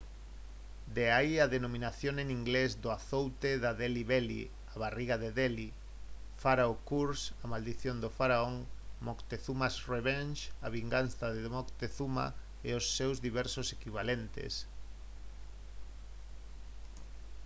de aí a denominación en inglés do azoute da «delhi belly» a barriga de delhi «pharaoh's curse» a maldición do faraón «moctezuma's revenge» a vinganza de moctezuma e os seus diversos equivalentes